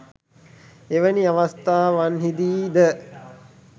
එවැනි අවස්ථාවන්හිදී ද